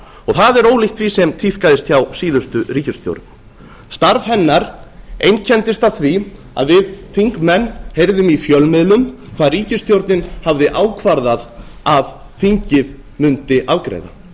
og það er ólíkt því sem tíðkaðist hjá síðustu ríkisstjórn starf hennar einkenndist af því að við þingmenn heyrðum í fjölmiðlum hvað ríkisstjórnin hafði ákvarðað að þingið mundi afgreiða